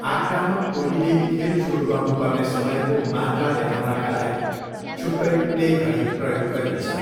आक्रामक टोलीले खेल सुरु गर्नु पर्ने समयको मात्रा देखाउनाका लागि छुट्टै प्ले घडी प्रयोग गरिन्छ।